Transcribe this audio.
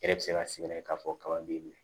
E yɛrɛ bɛ se ka sig'a la k'a fɔ kaba b'i minɛ